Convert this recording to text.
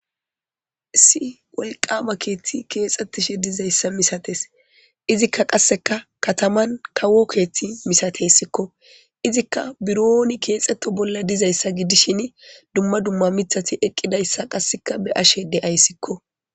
Issi wolqama keeththi keexetishe dizayssa misatees; izikka qasseka kataman kawo keeththi misatesiko; izikka bironi keexeto bolla dizayssa gidishin dumma dumma miththati eqqidayssa qassikka be'ashe de'aysiko.